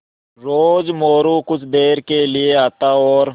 रोज़ मोरू कुछ देर के लिये आता और